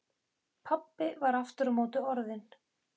Pabbi var aftur á móti orðinn